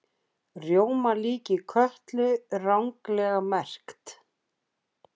Rjómalíki Kötlu ranglega merkt